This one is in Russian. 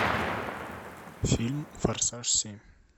фильм форсаж семь